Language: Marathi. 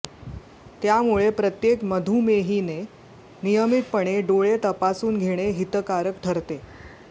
त्यामुळे प्रत्येक मधुमेहीने नियमितपणे डोळे तपासून घेणे हितकारक ठरते